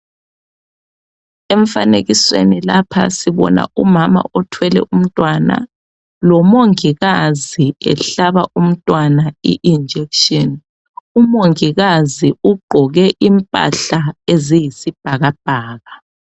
Emfanekisweni lapha sibona umama othwele umntwana lomongikazi ehlaba umntwana i injekhishini umongikazi ugqoke impahla eziyisibhakabhaka.